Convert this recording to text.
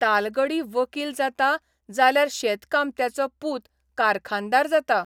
तालगडी वकील जाता जाल्यार शेतकामत्याचो पूत कारखानदार जाता.